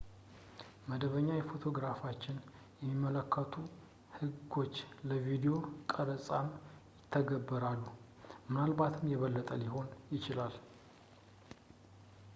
መደበኛ ፎቶግራፎችን የሚመለከቱ ህጎች ለቪዲዮ ቀረፃም ይተገበራሉ ፣ ምናልባትም የበለጠ ሊሆን ይችላል